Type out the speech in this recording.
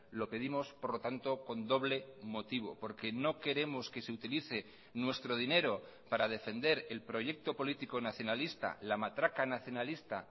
lo pedimos por lo tanto con doble motivo porque no queremos que se utilice nuestro dinero para defender el proyecto político nacionalista la matraca nacionalista